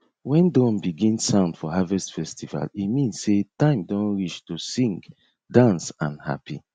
when drum begin sound for harvest festival e mean sey time don reach to sing dance and happy